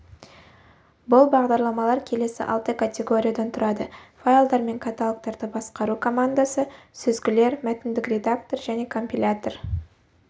бұл бағдарламалар келесі алты категориядан тұрады файлдар мен каталогтарды басқару командасы сүзгілер мәтіндік редактор және компилятор